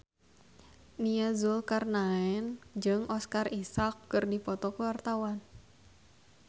Nia Zulkarnaen jeung Oscar Isaac keur dipoto ku wartawan